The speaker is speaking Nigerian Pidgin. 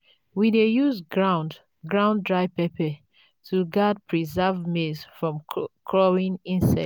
we dey use ground ground dry pepper to guard preserved maize from crawling insects.